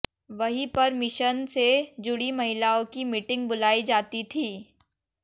वहीं पर मिशन से जुड़ी महिलाओं की मीटिंग बुलाई जाती थी